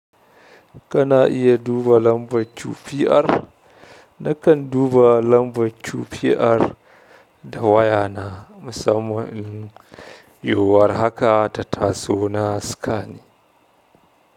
Kana iya duba lambar QPR? Nakan duba lambar QPR da waya na musamman, yiwuwar haka ta taso na scanning.